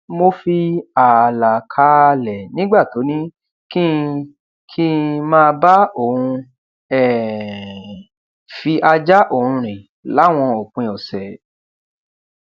mo fi ààlà kààlẹ nígbà tó ní kí kí n máa bá òun um fi ajá òun rìn láwọn òpin òsè